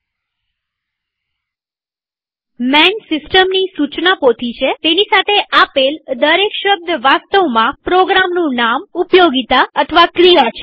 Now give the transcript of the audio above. માન સિસ્ટમની સુચના પોથી છેતેની સાથે આપેલ દરેક શબ્દ વાસ્તવમાં પ્રોગ્રામનું નામઉપયોગીતા અથવા ક્રિયા છે